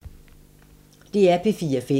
DR P4 Fælles